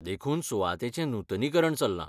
देखून सुवातेचें नूतनीकरण चल्लां.